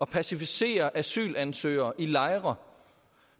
passivisere asylansøgere i lejre